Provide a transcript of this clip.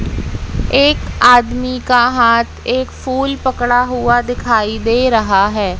एक आदमी का हाथ एक फूल पकड़ा हुआ दिखाई दे रहा है।